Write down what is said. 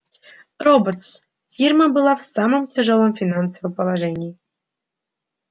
роботс фирма была в самом тяжёлом финансовом положении